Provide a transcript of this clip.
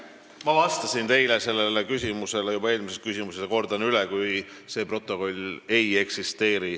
Ma vastasin teile juba eelmisele küsimusele vastates ja kordan üle: seda protokolli ei eksisteeri.